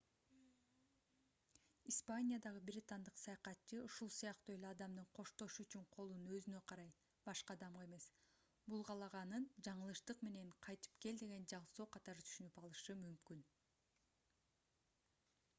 испаниядагы британдык саякатчы ушул сыяктуу эле адамдын коштошуу үчүн колун өзүнө карай башка адамга эмес булгалаганын жаңылыштык менен кайтып кел деген жаңсоо катары түшүнүп алышы мүмкүн